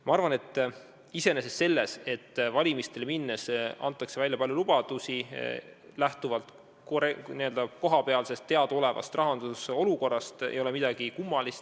Minu arvates selles, et valimistele minnes antakse välja palju lubadusi, lähtuvalt teadaolevast rahanduse olukorrast, ei ole iseenesest midagi kummalist.